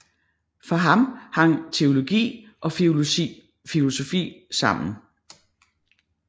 For ham hang teologi og filosofi sammen